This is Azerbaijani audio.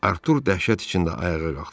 Artur dəhşət içində ayağa qalxdı.